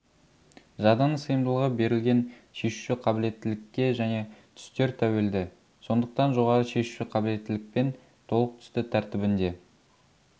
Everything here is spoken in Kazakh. жадының сыйымдылығы берілген шешуші қабілеттілікке және түстер тәуелді сондықтан жоғары шешуші қабілеттілікпен толық түсті тәртібінде